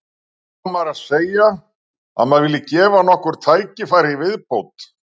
Hvenær á maður að segja að maður vilji gefa nokkur tækifæri í viðbót?